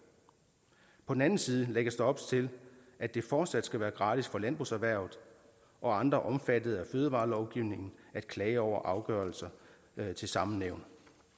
på den anden side lægges der op til at det fortsat skal være gratis for landbrugserhvervet og andre omfattet af fødevarelovgivningen at klage over afgørelser til samme nævn